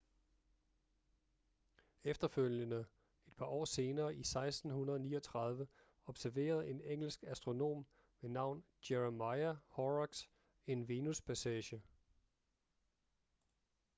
efterfølgende et par år senere i 1639 observerede en engelsk astronom ved navn jeremiah horrocks en venuspassage